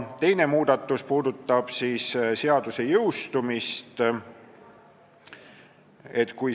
Teine muudatusettepanek puudutab seaduse jõustumist.